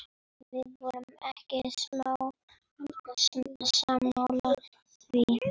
Við vorum ekki sammála því.